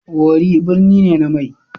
Worri birni ne na mai.